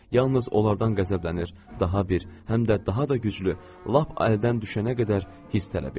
Yalnız onlardan qəzəblənir, daha bir, həm də daha da güclü, lap əldən düşənə qədər hiss tələb eləyir.